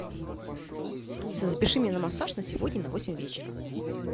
алиса запиши меня на массаж на сегодня на восемь вечера